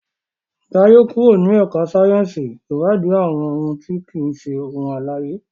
Jaye kúrò ní ẹka sáyẹnsì iwadi àwọn òun ti kii ṣe ohun alãye.